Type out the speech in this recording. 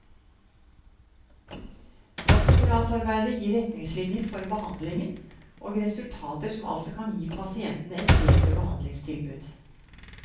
Doktorgradsarbeidet gir retningslinjer for behandlingen, og resultater som altså kan gi disse pasientene et bedre behandlingstilbud.